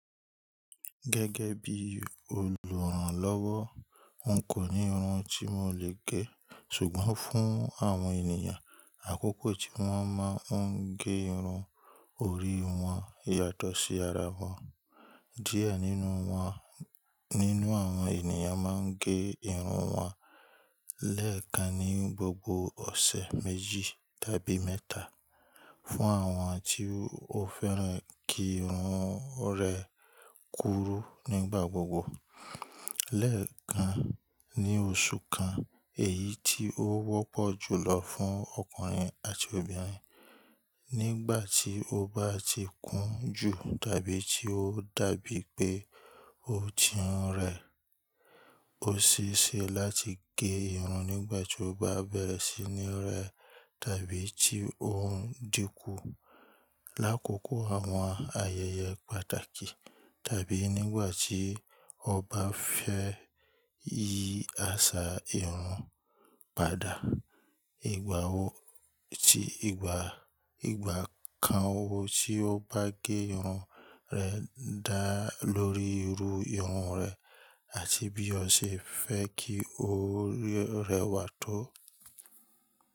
Gẹ́gẹ́ bí olùrànlọ́wọ́, n kò ní irun tí mo lè gẹ. Ṣùgbọ́n fún àwọn ènìyàn, àkókò tí wọ́n máa ń gé irun orí wọn yàtọ̀ sí ara wọn. Díẹ̀ nínú won nínú àwọn ènìyàn máa ń gé irun wọn lẹ́ẹ̀kan ní gbogbo ọ̀sẹ̀ méjì tàbí mẹ́ta. Fún àwọn tí o féràn kí irun rẹ kúrú nígbà gbogbo, lẹ́ẹ̀kan ní oṣù kan, èyí tí ó wọ́pọ̀ jùlọ fún ọkùnrin àti obìnrin. Nígbà tí o bá ti kún jù tàbí tí ó dàbí pé o ti hun rẹ̀, ó ṣese láti gé irun nígbà tí o bá bẹ̀rẹ̀ sí ní rẹ tàbí tí ohùn dínkù. Lákòókò àwọn ayẹyẹ pàtàkì tàbí nígbà tí o bá fẹ́ yí àṣà irun padà. Ìgbà kan wo tí o bá gé irun rẹ dá lórí irú irun rẹ àti bí ọ ṣe fẹ́ kí o rẹwà tó.